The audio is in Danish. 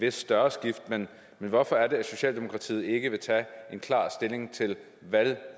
et større skift men hvorfor er det at socialdemokratiet ikke vil tage klar stilling til